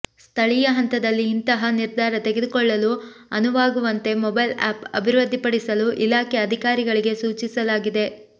ಸ್ಥಳೀಯ ಹಂತದಲ್ಲಿ ಇಂತಹ ನಿರ್ಧಾರ ತೆಗೆದುಕೊಳ್ಳಲು ಅನುವಾಗು ವಂತೆ ಮೊಬೈಲ್ ಆ್ಯಪ್ ಅಭಿವೃದ್ಧಿ ಪಡಿಸಲು ಇಲಾಖೆ ಅಧಿಕಾರಿಗಳಿಗೆ ಸೂಚಿಸಲಾಗಿದೆ